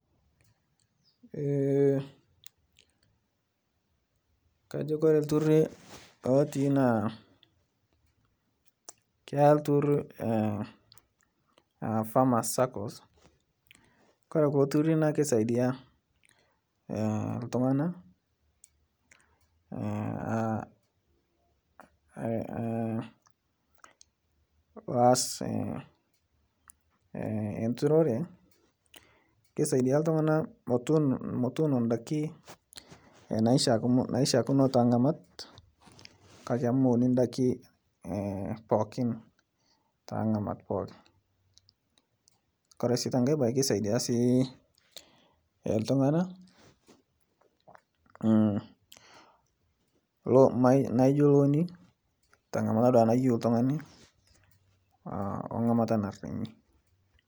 Ee kajo Kore ltururi lotii naa ketai ltururi a famas sakos Kore kulo ltururi naa keisadia a ltunganak aa loas nturore keisadia ltunganak motuno ndaki naishakino tengamat kake amu meuni ndaki pookin tengamat pooki, Kore si tenkae bae kesaidia sii ltunganak naijo looni tangamata naduake nayeu ltungani oo ngamata narinyi.